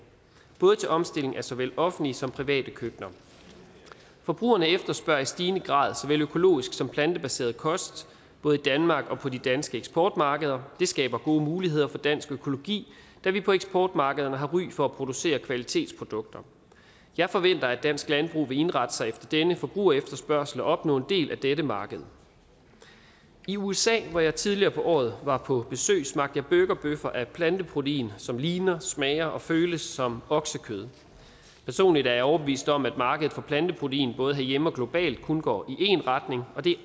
til omstilling af såvel offentlige som private køkkener forbrugerne efterspørger i stigende grad såvel økologisk som plantebaseret kost både i danmark og på de danske eksportmarkeder det skaber gode muligheder for dansk økologi da vi på eksportmarkederne har ry for at producere kvalitetsprodukter jeg forventer at dansk landbrug vil indrette sig efter denne forbrugerefterspørgsel og opnå en del af dette marked i usa hvor jeg tidligere på året var på besøg smagte jeg burgerbøffer af planteprotein som ligner smager og føles som oksekød personligt er jeg overbevist om at markedet for planteprotein både herhjemme og globalt kun går i én retning og det